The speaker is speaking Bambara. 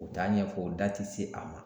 U t'a ɲɛfɔ u da ti se a ma